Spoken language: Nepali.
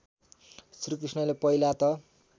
श्रीकृष्णले पहिला त